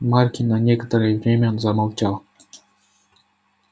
маркин на некоторое время замолчал